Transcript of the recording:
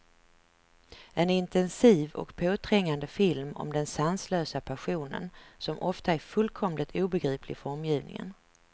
En intensiv och påträngande film om den sanslösa passionen, som ofta är fullkomligt obegriplig för omgivningen.